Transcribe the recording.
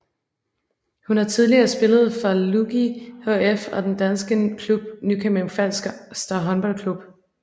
Hun har tidligere spillet for Lugi HF og den danske klub Nykøbing Falster Håndboldklub